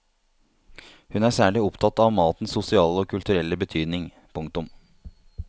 Hun er særlig opptatt av matens sosiale og kulturelle betydning. punktum